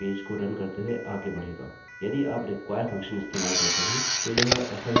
यदि आप require function इस्तेमाल करते हैं तो यह असल में खत्म कर देगा यदि यह सम्मिलित नहीं हो सका